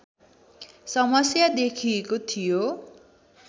समस्या देखिएको थियो